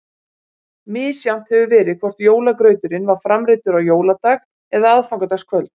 Misjafnt hefur verið hvort jólagrauturinn var framreiddur á jóladag eða aðfangadagskvöld.